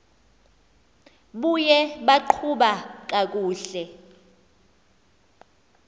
buye baqhuba kakuhle